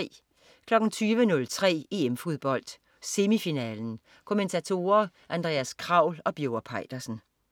20.03 EM Fodbold. Semifinale. Kommentatorer: Andreas Kraul og Birger Peitersen